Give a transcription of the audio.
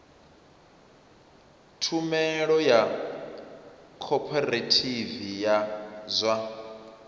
tshumelo ya khophorethivi ya zwa